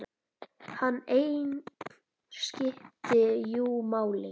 Hann einn skipti jú máli.